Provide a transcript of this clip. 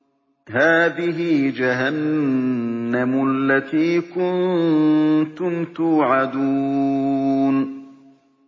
هَٰذِهِ جَهَنَّمُ الَّتِي كُنتُمْ تُوعَدُونَ